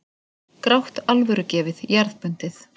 Grátt, alvörugefið, jarðbundið.